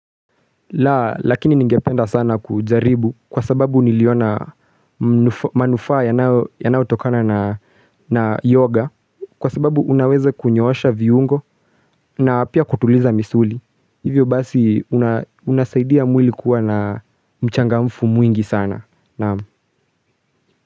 Lakini ningependa sana kujaribu kwa sababu niliona manufaa yanayotokana na yoga kwa sababu unaweza kunyoosha viungo na pia kutuliza misuli. Hivyo basi unasaidia mwili kuwa na mchangamfu mwingi sana.